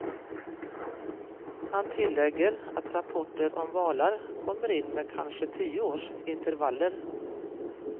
Han tillägger att rapporter om valar kommer in med kanske tio års intervaller.